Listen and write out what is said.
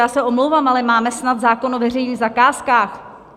- Já se omlouvám, ale máme snad zákon o veřejných zakázkách!